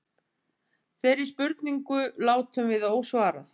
Þeirri spurningu látum við ósvarað.